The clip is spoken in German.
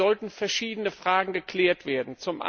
Deshalb sollten verschiedene Fragen geklärt werden.